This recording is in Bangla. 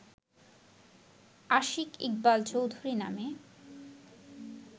আশিক ইকবাল চৌধুরী নামের